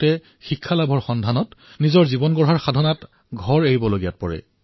বহু শিক্ষাৰ্থীয়ে এই পৰ্যন্ত নিজৰ নিজৰ মহাবিদ্যালয়ত চাগে নাম ভৰ্তি কৰিছে